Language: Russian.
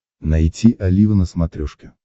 найти олива на смотрешке